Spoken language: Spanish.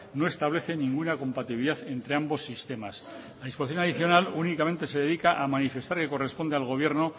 no establece ninguna compatibilidad entre ambos sistemas la disposición adicional únicamente se dedica a manifestar que corresponde al gobierno